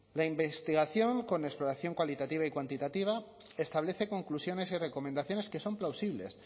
la investigación con exploración cualitativa y cuantitativa establece conclusiones y recomendaciones que son plausibles